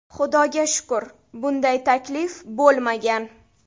Xudoga shukur, bunday taklif bo‘lmagan.